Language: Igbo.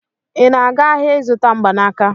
Ị na-aga ahịa ịzụta mgbanaka?